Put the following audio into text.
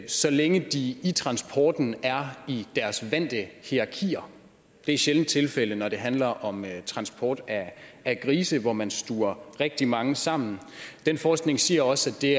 så længe de i transporten er i deres vante hierarkier det er sjældent tilfældet når det handler om transport af grise hvor man stuver rigtig mange sammen den forskning siger også at det